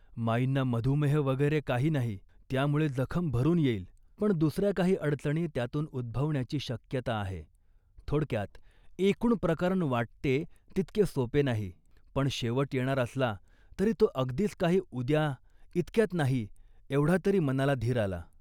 माईंना मधुमेह वगैरे नाही त्यामुळे जखम भरून येईल, पण दुसऱ्या काही अडचणी त्यातून उद्भवण्याची शक्यता आहे. " थोडक्यात, एकूण प्रकरण वाटते तितके सोपे नाही, पण शेवट येणार असला तरी तो अगदीच काही आज उद्या, इतक्यात नाही एवढा तरी मनाला धीर आला